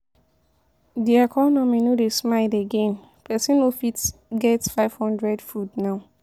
De economy no dey smile again, pesin no fit get #500 food now.